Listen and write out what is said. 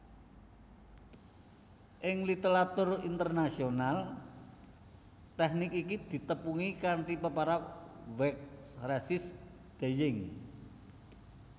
Ing literatur Internasional tèknik iki ditepungi kanthi peparab wax resist dyeing